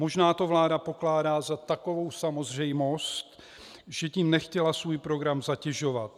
Možná to vláda pokládá za takovou samozřejmost, že tím nechtěla svůj program zatěžovat.